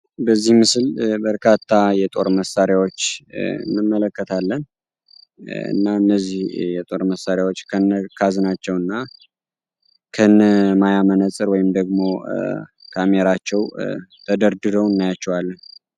በዚህ ምስል በርካታ የጦር መሳሪያዎች እንመለከታለን። እና እነዚህ የጦር መሳሪያዎች ከነ ካዝናቸው እና ከነ ማያ መነፀር ወይንም ደግሞ ካሜራቸው ተደርድረው እናያቸዋለን።